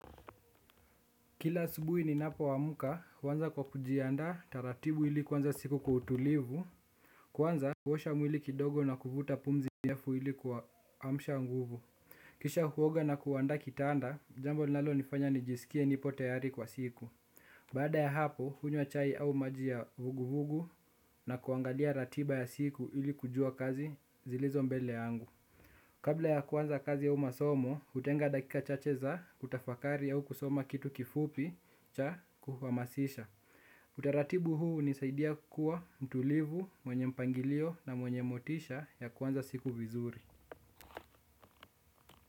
Kila subuhi ni napo amuka kwanza kwa kujianda taratibu ili kuanza siku kwa utulivu. Kwanza kuosha mwili kidogo na kuvuta pumzi mrefu ili ku amsha nguvu. Kisha huoga na kuanda kitanda jambo nalo nifanya nijisikie nipo tayari kwa siku. Bada ya hapo hunywa chai au majia vuguvugu na kuangalia ratiba ya siku ili kujua kazi zilizo mbele angu. Kabla ya kuanza kazi aumasomo, utenga dakika chacheza kutafakari ya u kusoma kitu kifupi cha kuhamasisha. Utaratibu huu nisaidia kuwa mtulivu, mwenye mpangilio na mwenye motisha ya kuanza siku vizuri.